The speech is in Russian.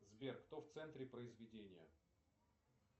сбер кто в центре произведения